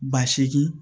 Ba seegin